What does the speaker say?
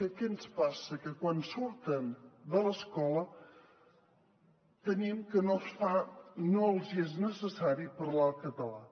què ens passa que quan surten de l’escola tenim que no els hi és necessari parlar el català